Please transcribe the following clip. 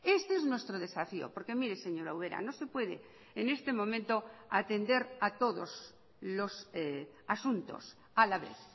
este es nuestro desafío porque mire señora ubera no se puede en este momento atender a todos los asuntos a la vez